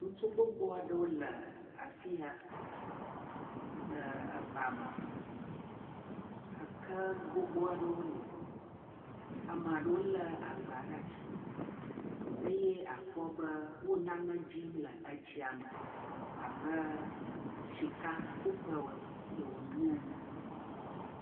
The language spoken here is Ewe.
Ŋutsu gbogbo aɖewo le afi ya le eba me. Eke gbogbo aɖewo li. Amea ɖewo le agba ɖe asi eye akpɔ be wo nane dzim le etsia me abe sikakuƒe wonye ene.